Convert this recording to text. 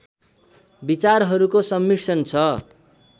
विचारहरूको सम्मिश्रण छ